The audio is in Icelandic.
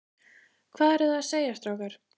Hvað eruð þið að segja, strákar?